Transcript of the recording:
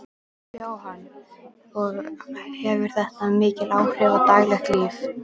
Jóhann: Og hefur þetta mikil áhrif á daglegt líf?